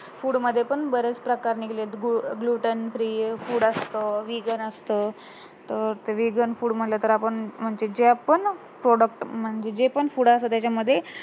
food मध्ये पण बरेच प्रकार निघालेत glutten free food असतं vegan असतं तर ते vegan food म्हंटल तर आपण म्हणजे जे आपण म्हणजे जे पण food आहे त्याच्या मध्ये